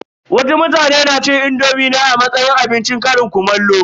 Wasu mutane na cin indomi ne a matsayin abincin ƙarin kumallo.